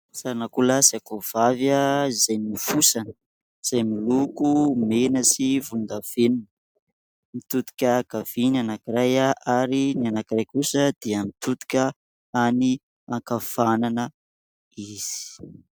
Sarin'akoho lahy sy akoho vavy izay nofosana, izay miloko mena sy volon-davenona. Mitodika ankavia ny anankiray ary ny anankiray kosa dia mitodika any ankavanana izy.